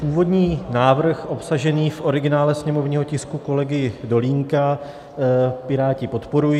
Původní návrh obsažený v originále sněmovního tisku kolegy Dolínka Piráti podporují.